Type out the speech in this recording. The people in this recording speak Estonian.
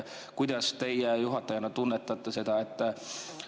Kuidas teie juhatajana seda tunnetate?